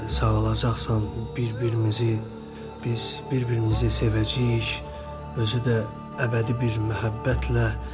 Sağalacaqsan, bir-birimizi, biz bir-birimizi sevəcəyik, özü də əbədi bir məhəbbətlə.